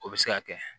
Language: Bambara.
O bɛ se ka kɛ